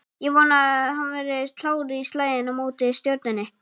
Ég vona að hann verði klár í slaginn á móti Stjörnunni